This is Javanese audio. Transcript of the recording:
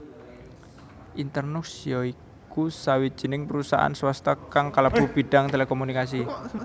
Internux ya iku sawijining perusahaan swasta kang kalebu bidang telekomunikasi